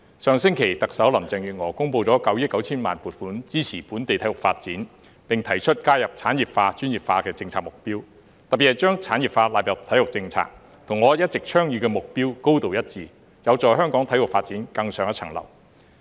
上星期特首林鄭月娥公布了9億 9,000 萬元撥款支持本地體育發展，並提出加入產業化、專業化的政策目標，特別是將產業化納入體育政策，與我一直倡議的目標高度一致，有助香港體育發展更上一層樓。